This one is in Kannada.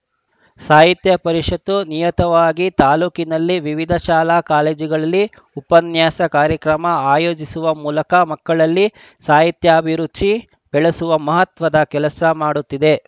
ಸಾಹಿತ್ಯ ಪರಿಷತ್ತು ನಿಯುತವಾಗಿ ತಾಲೂಕಿನ ವಿವಿಧ ಶಾಲಾಕಾಲೇಜುಗಳಲ್ಲಿ ಉಪನ್ಯಾಸ ಕಾರ್ಯಕ್ರಮ ಆಯೋಜಿಸುವ ಮೂಲಕ ಮಕ್ಕಳಲ್ಲಿ ಸಾಹಿತ್ಯಾಭಿರುಚಿ ಬೆಳೆಸುವ ಮಹತ್ವದ ಕೆಲಸ ಮಾಡುತ್ತಿದೆ